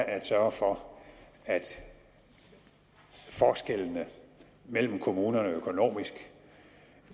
at sørge for at forskellene mellem kommunerne økonomisk